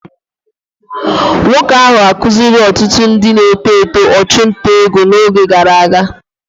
Nwoke ahụ akụziri ọtụtụ ndị na-eto eto ọchụnta ego n'oge gara aga.